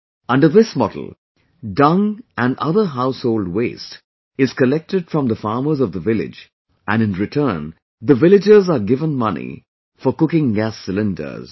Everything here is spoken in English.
Under this model, dung and other household waste is collected from the farmers of the village and in return the villagers are given money for cooking gas cylinders